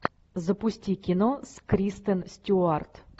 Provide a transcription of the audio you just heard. запусти кино с кристен стюарт